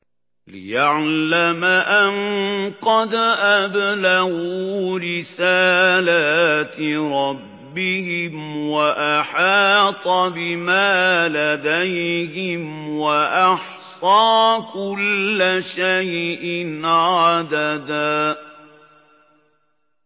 لِّيَعْلَمَ أَن قَدْ أَبْلَغُوا رِسَالَاتِ رَبِّهِمْ وَأَحَاطَ بِمَا لَدَيْهِمْ وَأَحْصَىٰ كُلَّ شَيْءٍ عَدَدًا